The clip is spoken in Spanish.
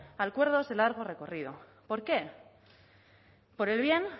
acuerdos de largo recorrido por qué por el bien